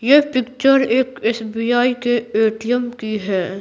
यह पिक्चर एक एसबीआई के एटीएम की है।